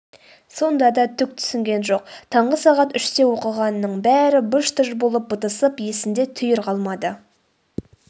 сонда да түк түсінген жоқ таңғы сағат үште оқығанының бәрі быж-тыж болып бытысып есінде түйір қалмады